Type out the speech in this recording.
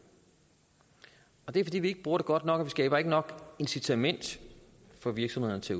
det er fordi vi ikke bruger det godt nok og skaber nok incitament for virksomhederne til